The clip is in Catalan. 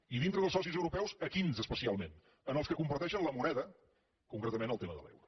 i dintre dels socis europeus a quins especialment als que comparteixen la moneda concretament el te·ma de l’euro